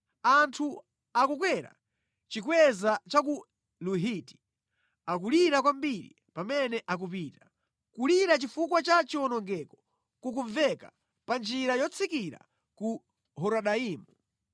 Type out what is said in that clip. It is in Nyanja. Anthu akukwera chikweza cha ku Luhiti, akulira kwambiri pamene akupita. Kulira chifukwa cha chiwonongeko kukumveka pa njira yotsikira ku Horonaimu.